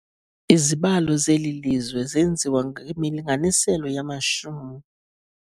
Izibalo zeli lizwe zenziwa ngemilinganiselo yamashumi.